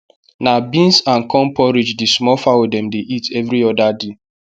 na beans and corn porride the small fowl dem dey eat every oda day